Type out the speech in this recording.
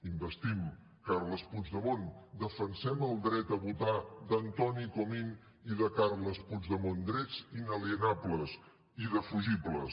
investim carles puigdemont defensem el dret a votar d’antoni comín i de carles puigdemont drets inalienables indefugibles